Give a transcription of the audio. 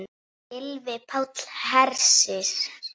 Gylfi Páll Hersir.